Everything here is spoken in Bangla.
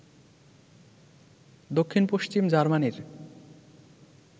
দক্ষিণপশ্চিম জার্মানির